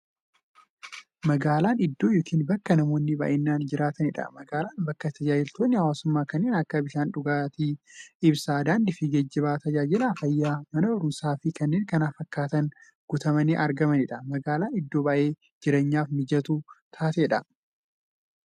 Magaalan iddoo yookiin bakka namoonni baay'inaan jiraataniidha. Magaalan bakka taajajilootni hawwaasummaa kanneen akka; bishaan qulqulluu, ibsaa, daandiifi geejjiba, taajajila fayyaa, Mana baruumsaafi kanneen kana fakkatan guutamanii argamaniidha. Magaalan iddoo baay'ee jireenyaf mijattuu taateedha.